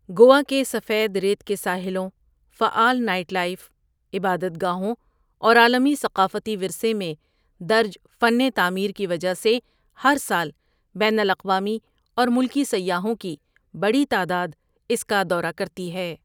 گوا کے سفید ریت کے ساحلوں، فعال نائٹ لائف، عبادت گاہوں اور عالمی ثقافتی ورثے میں درج فن تعمیر کی وجہ سے ہر سال بین الاقوامی اور ملکی سیاحوں کی بڑی تعداد اس کا دورہ کرتی ہے۔